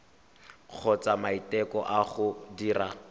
kgotsa maiteko a go dira